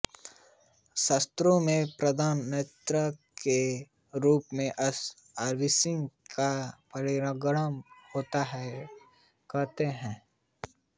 शास्त्रों में प्रथम नक्षत्र के रूप में अश्विनी का परिगणन होता है कहते हैं